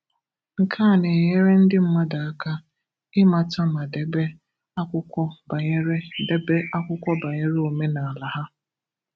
Nke a na-enyere ndị mmadụ aka ịmata ma débé akwụkwọ banyere débé akwụkwọ banyere omenala ha.